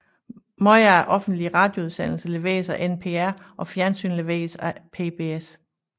Meget af offentlig radioudsendelse leveres af NPR og fjernsyn leveres af PBS